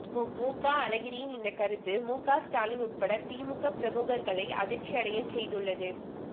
முக அழகிரியின் இந்த கருத்து முக ஸ்டாலின் உள்பட திமுக பிரமுகர்களை அதிர்ச்சி அடைய செய்துள்ளது